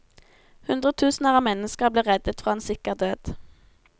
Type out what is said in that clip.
Hundretusener av mennesker ble reddet fra en sikker død.